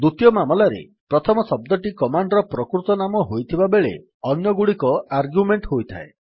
ଦ୍ୱିତୀୟ ମାମଲାରେ ପ୍ରଥମ ଶବ୍ଦଟି କମାଣ୍ଡ୍ ର ପ୍ରକୃତ ନାମ ହୋଇଥିବାବେଳେ ଅନ୍ୟଗୁଡିକ ଆର୍ଗ୍ୟୁମେଣ୍ଟ୍ ହୋଇଥାଏ